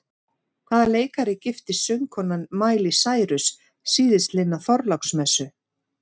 Hvaða leikara giftist söngkonan Miley Cyrus síðastliðna þorláksmessu?